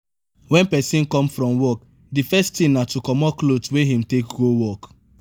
when person come from work di first thing na to comot cloth wey im take go work